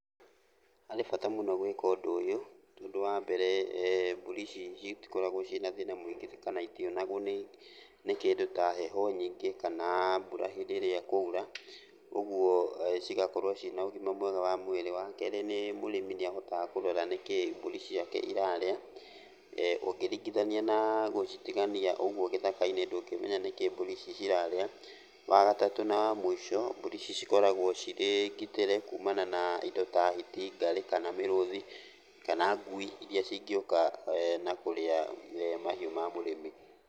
Harĩ bata mũno gwĩka ũndũ ũyũ, tondũ wa mbere mbũri ici citikoragwo ciĩna thĩna mũingĩ kana itionagwo nĩ kĩndũ ta heho nyingĩ kana mbura hĩndĩ ĩrĩa ĩkura, ũguo cĩgakorwo ciĩna ũgima mwega wa mwĩrĩ. Wa kerĩ, nĩ mũrĩmi nĩahotaga kũrora nĩkĩ mbũri ciake irarĩa, ũngĩringithania na gũcitigania ũguo gĩthaka-inĩ ndũngĩmenya nĩkĩĩ mbũri ici cirarĩa. Wa gatatũ na wa mũico, mbũri ici cikoragwo cirĩ ngitĩre kumana na indo ta hiti, ngarĩ kana mĩrũthi kana ngui iria cingĩũka na kũrĩa mahiũ ma mũrĩmi.